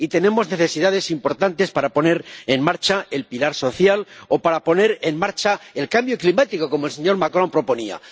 y tenemos necesidades importantes para poner en marcha el pilar social o para poner en marcha el cambio climático, como el señor Macron proponía.